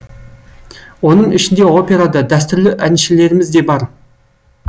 оның ішінде опера да дәстүрлі әншілеріміз де бар